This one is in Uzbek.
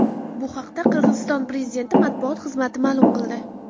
Bu haqda Qirg‘iziston prezidenti matbuot xizmati ma’lum qildi .